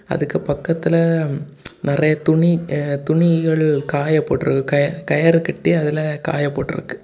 அதுகு பக்கத்துல நறைய துணி அ துணிகள் காய போட்டுருக்கு கய கயறு கட்டி அதுல காய போட்டுருக்கு.